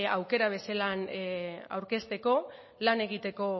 aukera bezala aurkezteko lan egiteko